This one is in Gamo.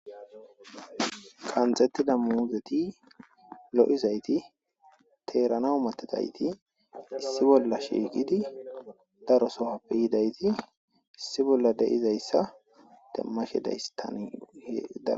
Qanxettida muhuzeti lo'izayti teerana umatidayti issi bolla shiikidi darosohappe yidayti issi bolla de'izayssa demmashe daystanda.